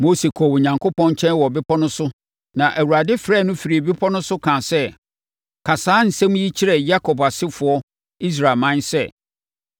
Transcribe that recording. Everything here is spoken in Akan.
Mose kɔɔ Onyankopɔn nkyɛn wɔ bepɔ no so na Awurade frɛɛ no firii bepɔ no so kaa sɛ, “Ka saa nsɛm yi kyerɛ Yakob asefoɔ Israelman sɛ,